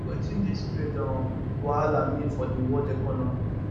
wetin dis trade um wahala mean for di world economy